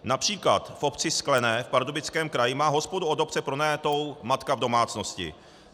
Například v obci Sklené v Pardubickém kraji má hospodu od obce pronajatou matka v domácnosti.